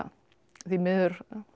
því miður